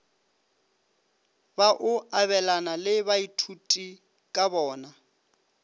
ba o abelane le baithutikabona